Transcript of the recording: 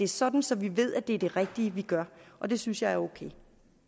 sådan så vi ved at det er det rigtige vi gør og det synes jeg er ok